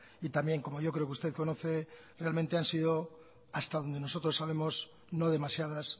y también como yo creo que usted conoce realmente han sido hasta donde nosotros sabemos no demasiadas